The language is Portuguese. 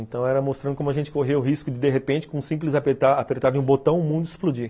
Então era mostrando como a gente correu o risco de, de repente, com um simples apertar apertar de um botão, o mundo explodir.